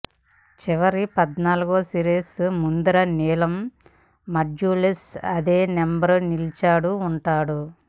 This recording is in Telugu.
చివరి పద్నాలుగో సిరీస్ ముదురు నీలం మాడ్యూల్స్ అదే నెంబర్ నిలిచాడు ఉంటాయి